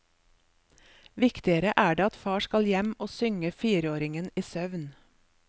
Viktigere er det at far skal hjem og synge fireåringen i søvn.